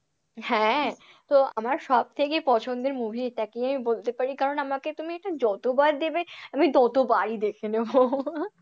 হ্যাঁ, তো আমার সব থেকে পছন্দের movie এটাকেই আমি বলতে পারি কারণ তুমি আমাকে যতবার দেবে আমি ততবারই দেখে নেব।